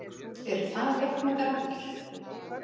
Eru það réttmætar áhyggjur?